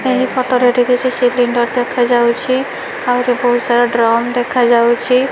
ଏହି ଫଟୋ ରେ ଏଠି କିଛି ସିଲିଣ୍ଡର ଦେଖା ଯାଉଚି ଆହୁରି ବୋହୁତ ସାରା ଡ୍ରମ ଦେଖା ଯାଉଛି।